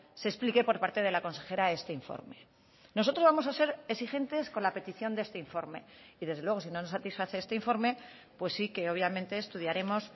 se explique por parte de la consejera este informe nosotros vamos a ser exigentes con la petición de este informe y desde luego si no nos satisface este informe pues sí que obviamente estudiaremos